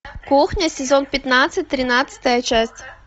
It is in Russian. кухня сезон пятнадцать тринадцатая часть